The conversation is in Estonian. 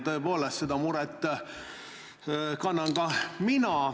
Tõepoolest, seda muret jagan ka mina.